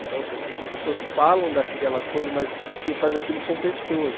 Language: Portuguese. Então, assim, as pessoas falam daquela coisa, mas quem faz aquilo são pessoas.